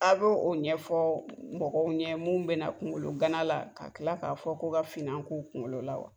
A bɛ o ɲɛfɔ mɔgɔw ɲɛ mun bɛ na kungolo gana la ka kila k'a fɔ k'u ka finna k'u kungolo la wa.